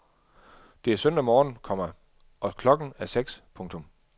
Det er søndag morgen, komma og klokken er seks. punktum